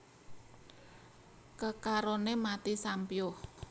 Kekaroné mati sampyuh